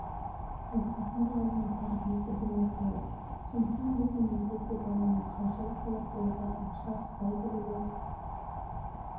отбасында алған тәрбиесі білініп тұрады сондықтан біздің елде де баланың қаржылық сауаттылығы ақша ұстай білуі